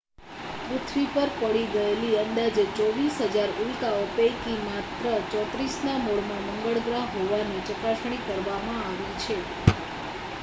પૃથ્વી પર પડી ગયેલી અંદાજે 24,000 ઉલ્કાઓ પૈકી માત્ર 34ના મૂળમાં મંગળ ગ્રહ હોવાની ચકાસણી કરવામાં આવી છે